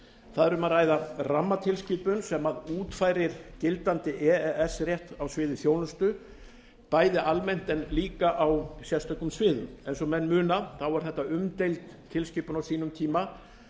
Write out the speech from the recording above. þar er um að ræða rammatilskipun sem útfærir gildandi e e s rétt á sviði þjónustu bæði almennt en líka á sérstökum sviðum eins og menn muna var þetta umdeild tilskipun á sínum tíma